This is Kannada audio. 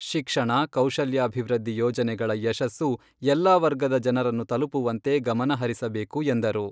ಶಿಕ್ಷಣ, ಕೌಶಲ್ಯಾಭಿವೃದ್ಧಿ ಯೋಜನೆಗಳ ಯಶಸ್ಸು ಎಲ್ಲಾ ವರ್ಗದ ಜನರನ್ನು ತಲುಪುವಂತೆ ಗಮನಹರಿಸಬೇಕು ಎಂದರು.